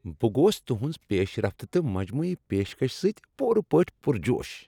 بہٕ گوٚوس تُہنٛز پیش رفت تہٕ مجموعی پیشکش سۭتۍ پوٗرٕ پٲٹھۍ پرجوش۔